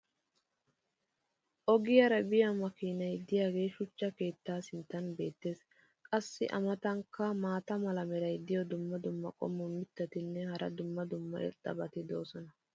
ogiyaara biya makiinay diyaagee shuchcha keettaa sinttan beetees. qassi a matankka maata mala meray diyo dumma dumma qommo mitattinne hara dumma dumma irxxabati de'oosona.